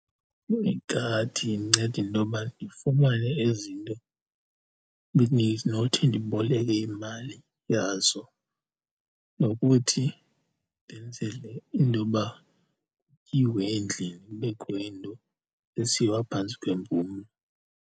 Igadi indinceda intoba ndifumane ezi nto bendinothi ndiboleke imali yazo nokuthi ndenzele intoba kutyiwe endlini, kubekho into esiwa phantsi kwempumlo.